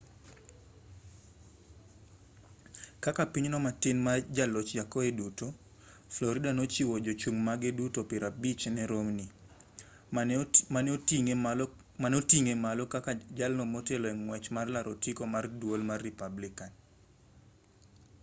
kaka pinyno matin ma jaloch yakoe duto florida nochiwo jochung' mage duto piero abich ne romney mane oting'e malo kaka jalno motelo e ng'wech mar laro otiko mar duol mar republican